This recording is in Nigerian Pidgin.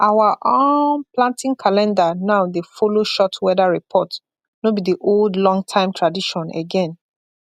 our um planting calendar now dey follow short weather report no be the old longtime tradition again